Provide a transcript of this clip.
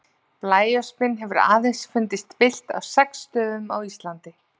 Blæöspin hefur aðeins fundist villt á sex stöðum á Íslandi.